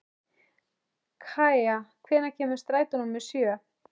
Kaía, hvenær kemur strætó númer sjö?